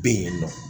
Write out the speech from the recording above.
Bɛ yen nɔ